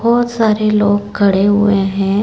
बोहोत सारे लोग खड़े हुए हैं।